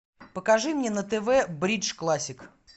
покажи мне на тв бридж классик